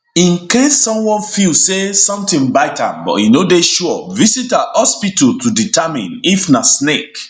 in case someone feel say sometin bite am but e no dey sure visit a hospital to determine if na snake